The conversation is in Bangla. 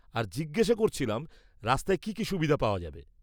আর জিজ্ঞেস করছিলাম রাস্তায় কি কি সুবিধে পাওয়া যাবে।